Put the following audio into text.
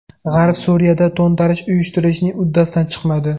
G‘arb Suriyada to‘ntarish uyushtirishning uddasidan chiqmadi.